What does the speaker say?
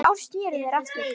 Eftir ár sneru þeir aftur.